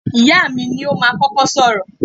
Ìyáà mi ni ó máa kọ́kọ́ sọ̀rọ̀.